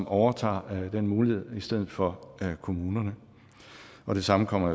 overtager den mulighed i stedet for kommunerne og det samme kommer